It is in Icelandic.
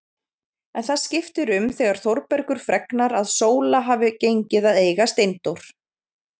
En það skiptir um þegar Þórbergur fregnar að Sóla hafi gengið að eiga Steindór.